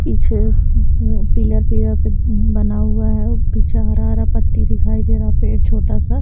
पीछे मम pillar pillar पे मम बना हुआ है पीछे हरा-हरा पत्ती दिखाई दे रहा पेड़ छोटा सा।